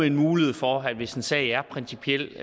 en mulighed for at hvis en sag er principiel